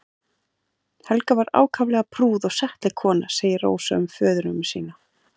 Helga var ákaflega prúð og settleg kona segir Rósa um föðurömmu sína.